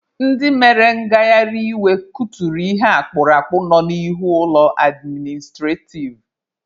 Ndị mere ngaharị iwe kuturu ihe akpurakpụ nọ n'ihu ụlọ administrativ.